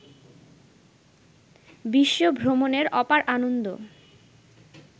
বিশ্বভ্রমণের অপার আনন্দ